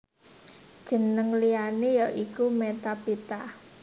Jeneng liyané ya iku Metaphyta